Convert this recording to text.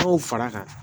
Dɔw fara kan